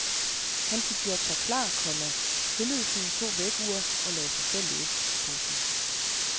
Han fik gjort sig klar, komma stillede sine to vækkeure og lagde sig til at læse. punktum